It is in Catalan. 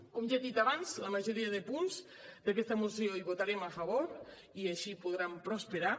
com ja he dit abans a la majoria de punts d’aquesta moció hi votarem a favor i així podran prosperar